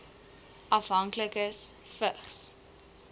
afhanklikes vigs